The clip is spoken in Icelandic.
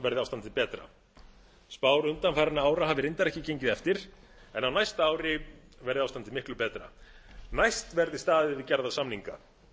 verði ástandið betra spár undanfarinna ára hafi reyndar ekki gengið eftir en á næsta ári verði ástandið miklu betra næst verði staðið við gerða samninga